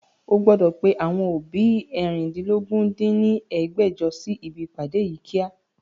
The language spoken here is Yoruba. O gbọ́dọ̀ pe àwọn òbí eérìndínlógún dín ní ẹgbẹ́jọ sí ibi ìpàdé yí kíá!